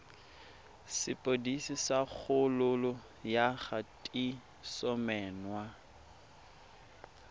sepodisi sa kgololo ya kgatisomenwa